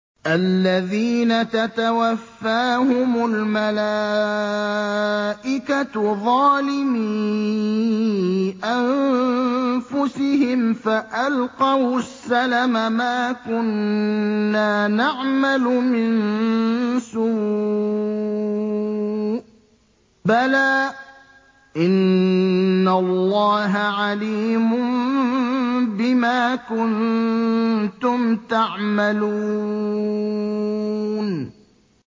الَّذِينَ تَتَوَفَّاهُمُ الْمَلَائِكَةُ ظَالِمِي أَنفُسِهِمْ ۖ فَأَلْقَوُا السَّلَمَ مَا كُنَّا نَعْمَلُ مِن سُوءٍ ۚ بَلَىٰ إِنَّ اللَّهَ عَلِيمٌ بِمَا كُنتُمْ تَعْمَلُونَ